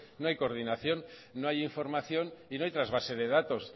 no hay coordinación no hay información y no hay trasvase de datos